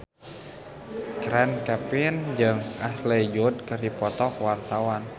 Chand Kelvin jeung Ashley Judd keur dipoto ku wartawan